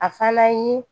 A fana ye